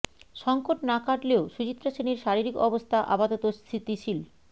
সঙ্কট না কাটলেও সুচিত্রা সেনের শারীরিক অবস্থা আপাতত স্থিতিশীল